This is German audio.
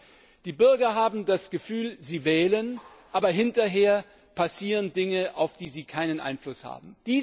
Nein, die Bürger haben das Gefühl, sie wählen, aber hinterher passieren Dinge, auf die sie keinen Einfluss haben.